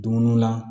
Dumuniw la